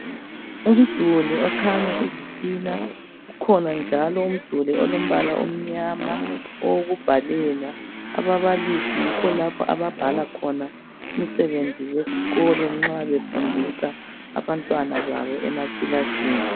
Umduli okhanya izitina, ukhona njalo umduli olombala omnyama owokubhalela. Ababalisi yikho lapha ababhala khona umsebenzi wesikolo nxa befundisa abantwana babo emakilasini.